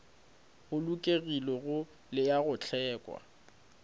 bolokegilego le a go hlweka